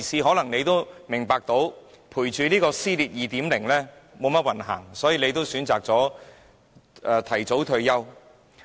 或許他也明白到，追隨這位"撕裂 2.0" 特首並沒意思，寧可選擇提早退休。